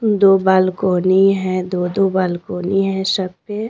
दो बालकोनी है दो-दो बालकोनी है सब पे।